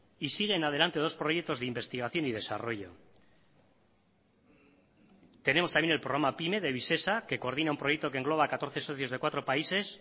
y siguen adelante dos proyectos de investigación y desarrollo tenemos también el programa pyme de visesa que coordina un proyecto que engloba catorce socios de cuatro países